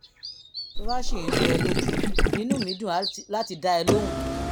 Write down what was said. tó bá ṣì ń rú ẹ ẹ lójú inú mi á dùn láti dá ẹ lóhùn